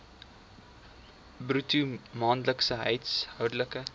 bruto maandelikse huishoudelike